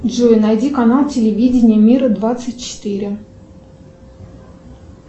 джой найди канал телевидение мира двадцать четыре